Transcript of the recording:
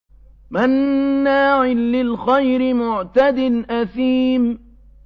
مَّنَّاعٍ لِّلْخَيْرِ مُعْتَدٍ أَثِيمٍ